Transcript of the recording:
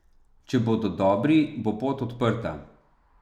Če bodo dobri, bo pot odprta.